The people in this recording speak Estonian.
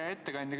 Hea ettekandja!